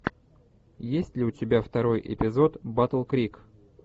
есть ли у тебя второй эпизод батл крик